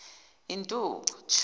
intuthu